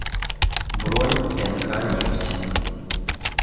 бронь нк нефть